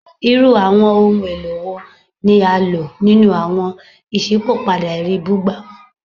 Irú àwọn ohun èlò wo ni a lò nínú àwọn iṣipopada ẹri bugbamu?